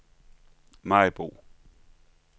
Maribo